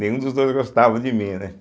Nenhum dos dois gostavam de mim, né.